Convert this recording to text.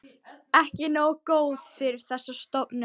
Ekki nógu góður fyrir þessa stofnun.